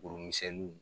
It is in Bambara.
Buru misɛnni